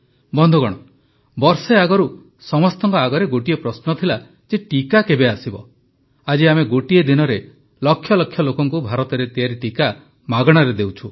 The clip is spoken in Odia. ବନ୍ଧୁଗଣ ବର୍ଷେ ଆଗରୁ ସମସ୍ତଙ୍କ ଆଗରେ ଗୋଟିଏ ପ୍ରଶ୍ନ ଥିଲା ଯେ ଟିକା କେବେ ଆସିବ ଆଜି ଆମେ ଗୋଟିଏ ଦିନରେ ଲକ୍ଷ ଲକ୍ଷ ଲୋକଙ୍କୁ ଭାରତରେ ତିଆରି ଟିକା ମାଗଣାରେ ଦେଉଛୁ